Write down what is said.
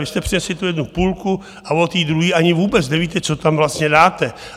Vy jste přinesli tu jednu půlku a o té druhé ani vůbec nevíte, co tam vlastně dáte.